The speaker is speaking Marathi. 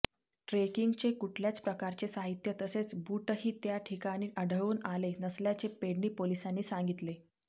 ट्रेकिंगचे कुठल्याच प्रकारचे साहित्य तसेच बूटही त्या ठिकाणी आढळून आले नसल्याचे पेडणे पोलिसांनी सांगितले